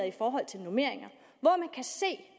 i forhold til normeringer